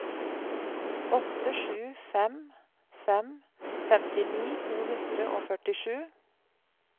åtte sju fem fem femtini to hundre og førtisju